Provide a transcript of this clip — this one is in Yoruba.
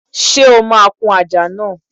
Ṣé o máa kún àjà náà?